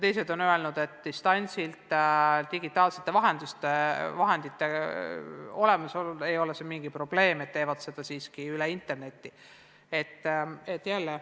Teised on öelnud, et digitaalsete vahendite olemasolu korral seda distantsilt teha ei ole mingi probleem, nad teevad seda interneti teel.